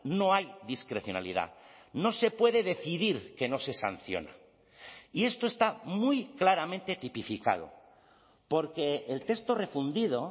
no hay discrecionalidad no se puede decidir que no se sanciona y esto está muy claramente tipificado porque el texto refundido